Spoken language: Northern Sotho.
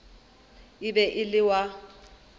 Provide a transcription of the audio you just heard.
e be e le wa